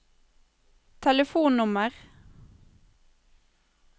telefonnummer